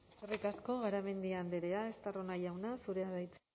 eskerrik asko garamendi andrea estarrona jauna zurea da hitza